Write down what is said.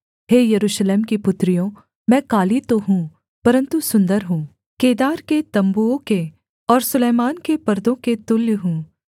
हे यरूशलेम की पुत्रियों मैं काली तो हूँ परन्तु सुन्दर हूँ केदार के तम्बुओं के और सुलैमान के पर्दों के तुल्य हूँ